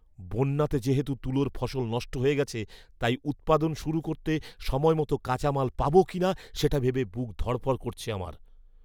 বন্যাতে যেহেতু তুলোর ফসল নষ্ট হয়ে গেছে তাই উৎপাদন শুরু করতে সময়মত কাঁচা মাল পাব কিনা সেটা ভেবে বুক ধড়ফড় করছে আমার!